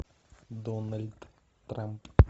дональд трамп